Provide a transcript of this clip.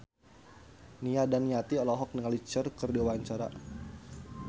Nia Daniati olohok ningali Cher keur diwawancara